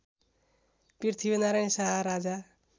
Prithvinarayan Shah Raja